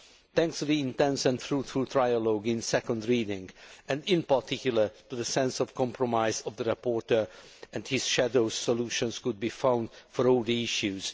Thanks to the intense and fruitful trialogue in second reading and in particular to the sense of compromise of the rapporteur and his shadows, solutions could be found for all the issues.